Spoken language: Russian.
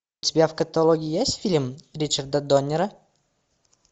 у тебя в каталоге есть фильм ричарда доннера